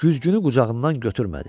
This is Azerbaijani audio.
Güzgünü qucağından götürmədi.